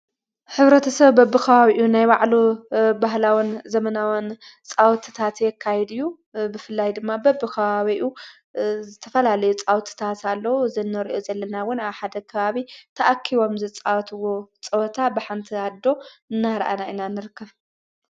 ሕብረተሰብ በብ ኸባቢኡ ናይ ባዕሉ ባህላወን ዘመናወን ጻውት ታትየካይድዩ ብፍላይ ድማ በብ ኸዋዊኡ ዝተፈላል ፃውት ኣሎዉ። ዘነርኦ ዘለናውን ኣ ሓደ ኸባቢ ተኣኪቦም ዘጸወትዎ ጸወታ በሓንቲ ኣዶ እናረአና እና ንርከብ።